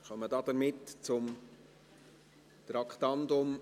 Somit kommen wir zum Traktandum 87.